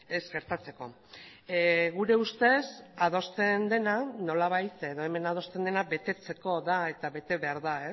ez gertatzeko gure ustez hemen adosten dena betetzeko da eta bete behar da